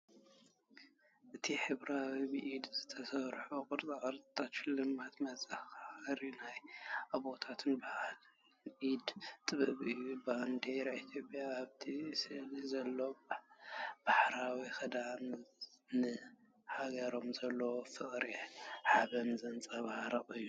እቲ ሕብራዊ ብኢድ ዝተሰርሑ ቕርፃቅርፂታት ሽልማትን መዘኻኸሪ ናይ ኣቦታቶም ባህልን ኢደ ጥበብን እዮም። ባንዴራ ኢትዮጵያን ኣብቲ ስእልታት ዘሎ ባህላዊ ክዳንን ንሃገሮም ዘለዎም ፍቕርን ሓበንን ዘንጸባርቕ እዩ።